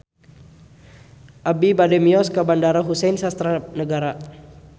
Abi bade mios ka Bandara Husein Sastra Negara